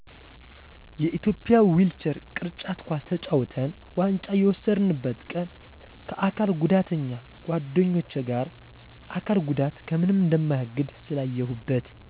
የኢትዮጵያ ዊልቸር ቅርጫት ኳስ ተጫውተን ዋንጫ የወሰድነበትን ቀን ከአካል ጉዳተኛ ጓደኞቸ ጋር አካል ጉዳት ከምንም እንደማያግድ ስላየሁበት